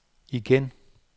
igen